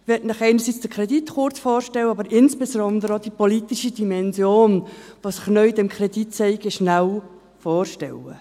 Ich möchte Ihnen einerseits den Kredit kurz vorstellen, aber insbesondere auch die politische Dimension, die sich dabei zeigt.